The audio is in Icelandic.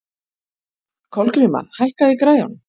Kolgríma, hækkaðu í græjunum.